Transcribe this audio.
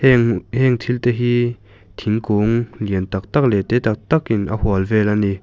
heng thil te hi thingkung lian tak tak leh te tak tak in a hual vel a ni.